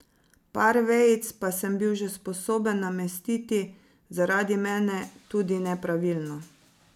Par vejic sem bil pa že sposoben namestiti, zaradi mene tudi nepravilno.